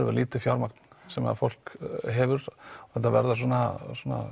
lítið fjármagn sem fólk hefur og þetta verða svona